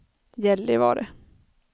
Gällivare